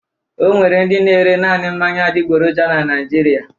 Ọ nwere ndị na-ere naanị mmanya adịgboroja na Naịjirịa.